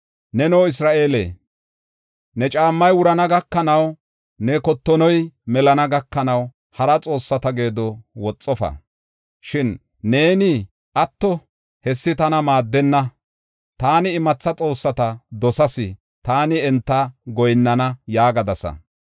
Neno, Isra7eele, ne caammay wurana gakanaw ne kottonoy melana gakanaw hara xoossata geedo woxofa. Shin neeni, ‘Atto, hessi tana maaddenna. Taani imatha xoossata dosas; taani enta goyinnana’ yaagadasa.